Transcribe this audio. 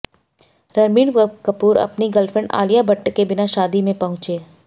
रणबीर कपूर अपनी गर्लफ्रेंड आलिया भट्ट के बिना शादी में पहुंचे